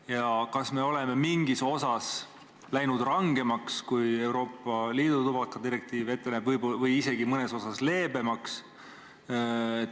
Ja kas me oleme mingis osas läinud rangemaks, kui Euroopa Liidu tubakadirektiiv ette näeb, või mõnes osas hoopis leebemaks?